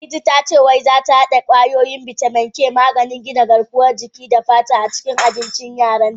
Ladidi ta ce wai zata hada kwayoyin bitamin K/maganin gina garkuwan jiki da fata, a cikin abincin yaran ta.